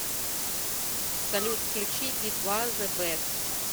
салют включи би два зэ бест